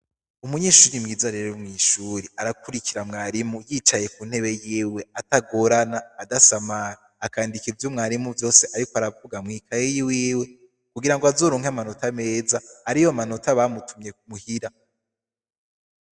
Umunyeshure mwiza rero mw'ishure, arakurikira mwarimu, yicaye k'untebe yiwe, atagorana, adasamara. Akandika ivyo mwarimu vyose ariko aravuga mw'ikaye yiwiwe, kugira ngo azoronke amanota meza, ariyo manota bamutumye muhira.